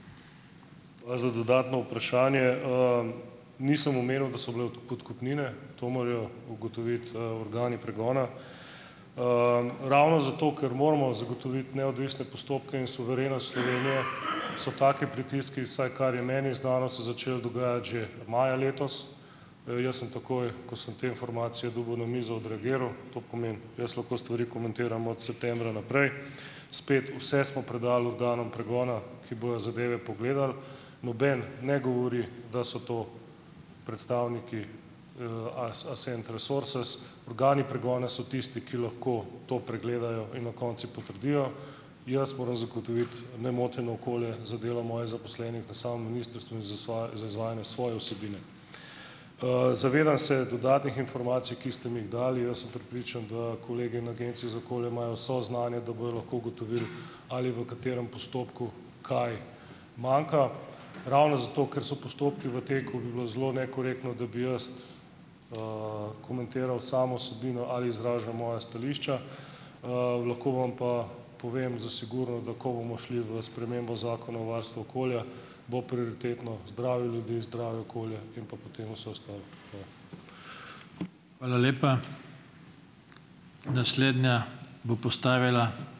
Hvala za dodatno vprašanje. Nisem omenil, da so bile podkupnine. To morajo ugotoviti, organi pregona. Ravno zato, ker moramo zagotoviti neodvisne postopke in suverenost Slovenije, so taki pritiski, vsaj kar je meni znano, se začeli dogajati že maja letos. Jaz sem takoj, ko sem te informacije dobil na mizo, odreagiral. To pomeni, jaz lahko stvari komentiram od septembra naprej. Spet, vse smo predali organom pregona, ki bojo zadeve pogledali. Noben ne govori, da so to predstavniki, Accent Resources. Organi pregona so tisti, ki lahko to pregledajo in na koncu potrdijo. Jaz moram zagotoviti nemoteno okolje za delo mojih zaposlenih v samem ministrstvu in za za izvajanje svoje vsebine. Zavedam se dodatnih informacij, ki ste mi jih dali. Jaz sem prepričan, da kolegi na Agenciji za okolje imajo vso znanje, da bojo lahko ugotovili, ali v katerem postopku kaj manjka. Ravno zato, ker so postopki v teku, bi bilo zelo nekorektno, da bi jaz komentiral samo vsebino ali izražal moja stališča. Lahko vam pa povem za sigurno, da ko bomo šli v spremembo zakona o varstvu okolja, bo prioritetno zdravje ljudi, zdravje okolja in pa potem vse ostalo. Hvala.